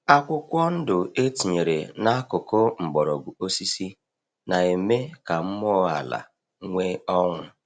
Akwụkwọ ndụ e tinyere n’akụkụ mgbọrọgwụ osisi na-eme ka mmụọ ala nwee ọṅụ.